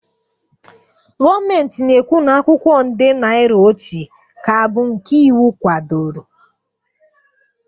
Gọọmenti na-ekwu na akwụkwọ nde naira ochie ka bụ nke iwu kwadoro